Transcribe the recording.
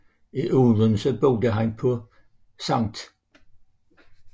I Odense boede han på St